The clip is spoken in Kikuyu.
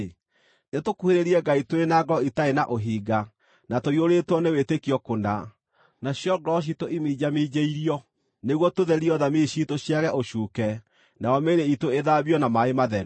nĩtũkuhĩrĩrie Ngai tũrĩ na ngoro itarĩ na ũhinga, na tũiyũrĩtwo nĩ wĩtĩkio kũna, nacio ngoro ciitũ iminjaminjĩirio nĩguo tũtherio thamiri ciitũ ciage ũcuuke nayo mĩĩrĩ iitũ ĩthambĩtio na maaĩ matheru.